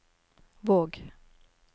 Våg